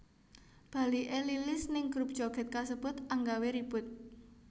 Baliké Lilis ning grup joget kasebut anggawé ribut